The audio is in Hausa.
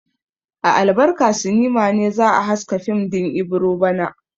A Albarka sinima ne za a haska fim din Ibiro bana.